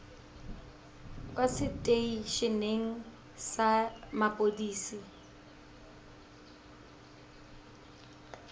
kwa setei eneng sa mapodisi